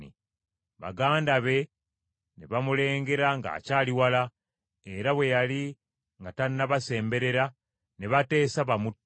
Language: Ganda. Baganda be ne bamulengera ng’akyali wala, era bwe yali nga tannabasemberera ne bateesa bamutte.